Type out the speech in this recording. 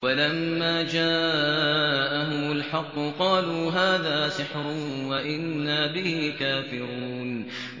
وَلَمَّا جَاءَهُمُ الْحَقُّ قَالُوا هَٰذَا سِحْرٌ وَإِنَّا بِهِ كَافِرُونَ